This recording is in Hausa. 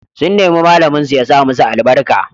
Sun nemi malaminsu ya sa musu albarka.